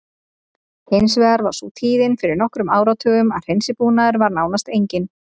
Hins vegar var sú tíðin fyrir nokkrum áratugum að hreinsibúnaður var nánast enginn.